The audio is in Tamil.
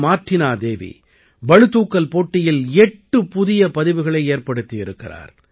மார்ட்டினா தேவி பளுதூக்கல் போட்டியில் எட்டு புதிய பதிவுகளை ஏற்படுத்தி இருக்கிறார்